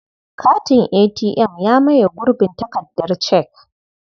Katin ATM ya maye gurbin takardar cek.